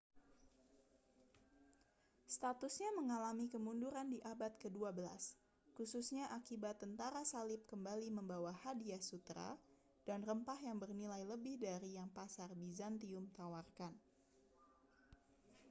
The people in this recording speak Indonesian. statusnya mengalami kemunduran di abad kedua belas khususnya akibat tentara salib kembali membawa hadiah sutera dan rempah yang bernilai lebih dari yang pasar bizantium tawarkan